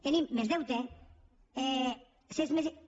tenim més deute i